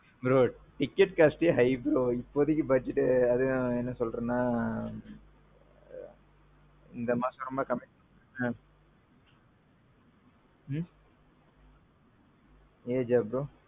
bro. ticket costஎ high bro. இப்போதைக்கு budget அதையும் என்ன சொல்றதுனா. இந்த மாசம் ரொம்ப commitments இருந்திச்சு. ageஆ bro?